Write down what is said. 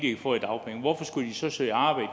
få i dagpenge hvorfor skulle jeg så søge arbejde